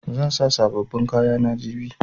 Zan sa sabobbin kayana jibi.